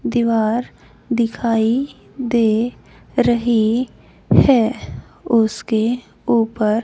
दीवार दिखाई दे रहीं हैं उसके ऊपर--